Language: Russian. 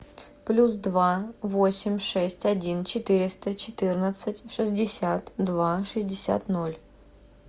плюс два восемь шесть один четыреста четырнадцать шестьдесят два шестьдесят ноль